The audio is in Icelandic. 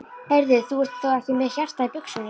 Heyrðu. þú ert þó ekki með hjartað í buxunum!